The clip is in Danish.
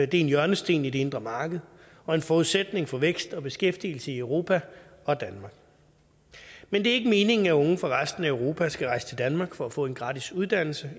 det er en hjørnesten i det indre marked og en forudsætning for vækst og beskæftigelse i europa og danmark men det er ikke meningen at unge fra resten af europa skal rejse til danmark for at få en gratis uddannelse